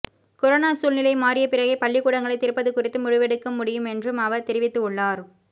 corona சூழ்நிலை மாறிய பிறகே பள்ளிக்கூடங்களை திறப்பது குறித்து முடிவெடுக்க முடியும் என்றும் அவர் தெரிவித்து உள்ளார்